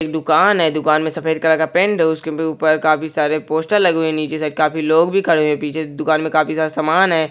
एक दुकान है दुकान में सफेद कलर का पेंट है उसके ऊपर काफी सारे पोस्टर लगे हुए नीचे से काफी लोग भी खड़े है पीछे दुकान में काफी सारा सामान है।